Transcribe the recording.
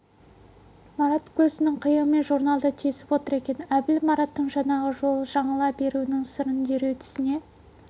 марат көзінің қиығымен журналды тесіп отыр екен әбіл мараттың жаңағы жолы жаңыла беруінің сырын дереу түсіне